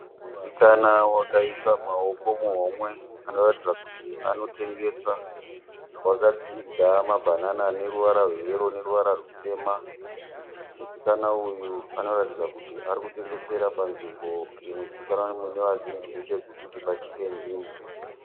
Musikana wakaisa maoko muhomwe anoratidza kuti anotengesa. Wakatsiga mabhanana aneruvara rweyero nerutema. Musikana uyu anoratidza kuti anotengesera panzvimbo inozikanwa nevazhinji muChegutu kuti paChicken Inn.